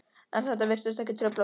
En þetta virtist ekki trufla mig.